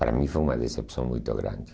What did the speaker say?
Para mim foi uma decepção muito grande.